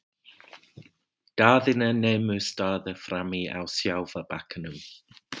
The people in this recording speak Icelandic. Daðína nemur staðar frammi á sjávarbakkanum.